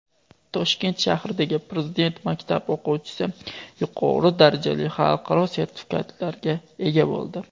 Toshkent shahridagi Prezident maktab o‘quvchisi yuqori darajali xalqaro sertifikatlarga ega bo‘ldi.